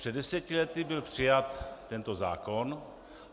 Před deseti lety byl přijat tento zákon.